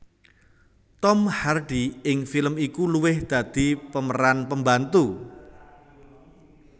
Tom Hardy ing film iku luwih dadi pemeran pembantu